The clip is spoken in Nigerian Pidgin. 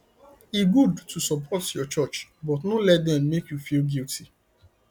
e good to support your church but no let dem make you feel guilty